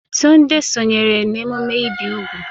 Tunde sonyeere emume ibi úgwù.